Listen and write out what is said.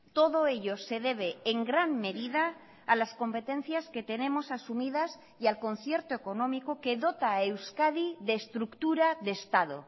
todo ello se debe en gran medida a las competencias que tenemos asumidas y al concierto económico que dota a euskadi de estructura de estado